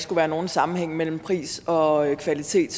er nogen sammenhæng mellem pris og kvalitet